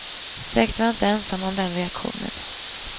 Säkert var jag inte ensam om den reaktionen.